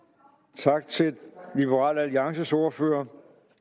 tak til liberal alliances ordfører